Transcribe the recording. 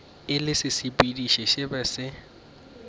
e le sesepediši se sebe